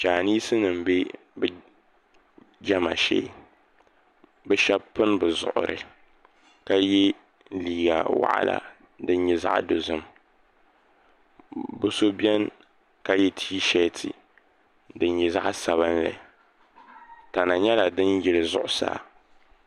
Chinese nima m-be bɛ jɛma shee bɛ shɛba pini bɛ zuɣuri ka ye liiga waɣila din nyɛ zaɣ'dozim bɛ so beni ka ye tiisheeti din nyɛ zaɣ'sabinli tana nyɛla din yili zuɣusaa.